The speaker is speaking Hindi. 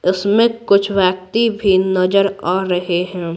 इसमें कुछ व्यक्ति भी नजर आ रहे हैं।